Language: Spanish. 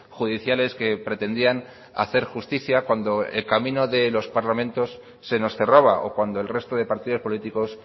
judiciales que pretendían hacer justicia cuando el camino de los parlamentos se nos cerraba o cuando el resto de partidos políticos